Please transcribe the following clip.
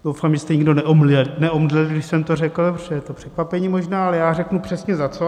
Doufám, že jste nikdo neomdlel, když jsem to řekl, protože je to překvapení možná, ale já řeknu přesně za co.